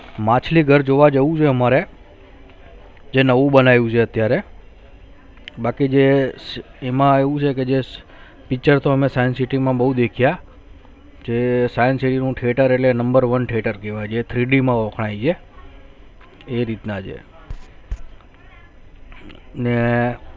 જે science city નુ theatre એટલે number onetheatre કેહવાય છે Three D મા વખાનયે છે એ રીત ના છે ને